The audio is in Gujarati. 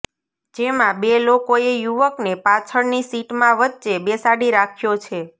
જેમાં બે લોકોએ યુવકને પાછળની સીટમાં વચ્ચે બેસાડી રાખ્યો છે